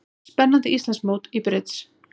Spennandi Íslandsmót í brids